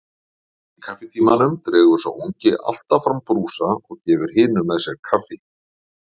Í kaffitímanum dregur sá ungi alltaf fram brúsa og gefur hinum með sér kaffi.